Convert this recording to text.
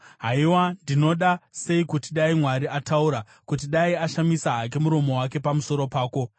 Haiwa, ndinoda sei kuti dai Mwari ataura, kuti dai ashamisa hake muromo wake pamusoro pako,